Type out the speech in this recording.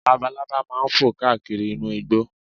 Labalábá máa fò káàkiri inú igbó